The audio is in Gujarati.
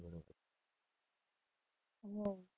હમ્મ.